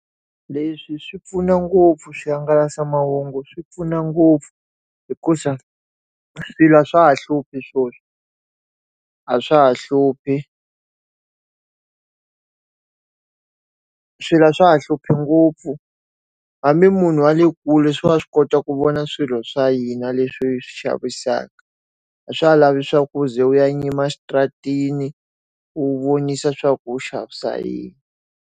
Leswi swi pfuna ngopfu swihangalasamahungu swi pfuna ngopfu hikuza swilo a swa ha hluphi swona, a swa ha hluphi swilo swa ha hluphi ngopfu, hambi munhu wa le kule wa swi kota ku vona swilo swa hina leswi swi xavisaka. A swa ha lavi swa ku u ze u ya yima xitaratini ku vonisa swa ku xavisa yini.